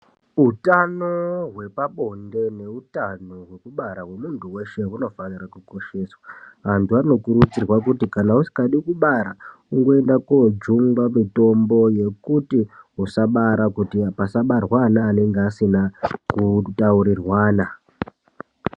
Utano hwepabonde neutano hwekubara hwemuntu weshe unofana kukosheswa antu anokurudzirwa kuti kana usikadi kubara ungoinda kojungwa mutombo yekuti usabara kuitira kuti pasabarwa ana anenge asina kutaurirwana .